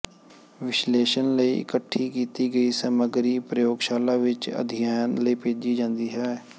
ਵਿਸ਼ਲੇਸ਼ਣ ਲਈ ਇਕੱਠੀ ਕੀਤੀ ਗਈ ਸਮੱਗਰੀ ਪ੍ਰਯੋਗਸ਼ਾਲਾ ਵਿੱਚ ਅਧਿਐਨ ਲਈ ਭੇਜੀ ਜਾਂਦੀ ਹੈ